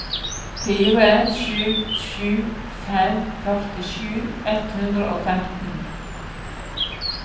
fire sju sju fem førtisju ett hundre og femten